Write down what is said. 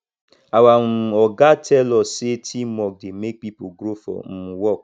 our um oga tell us sey teamwork dey make pipo grow for um work